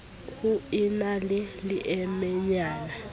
ho e na le leemenyana